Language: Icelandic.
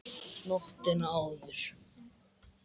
Nóttina áður!